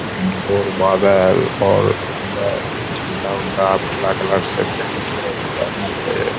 घंगोर बादल और अंदर झंडा-उंडा और पीला कलर से पेंट करल हेय मंदिर --